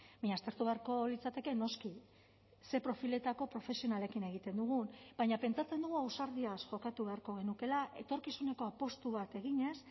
baina aztertu beharko litzateke noski ze profiletako profesionalekin egiten dugun baina pentsatzen dugu ausardiaz jokatu beharko genukeela etorkizuneko apustu bat eginez